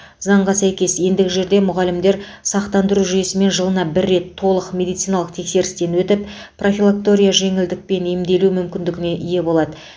заңға сәйкес ендігі жерде мұғалімдер сақтандыру жүйесімен жылына бір рет толық медициналық тексерістен өтіп профилакторияға жеңілдікпен емделу мүмкіндігіне ие болады